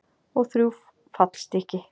Og þrjú fallstykki.